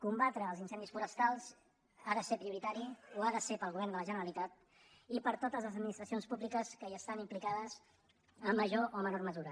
combatre els incendis forestals ha de ser prioritari ho ha de ser pel govern de la generalitat i per totes les administracions públiques que hi estan implicades en major o menor mesura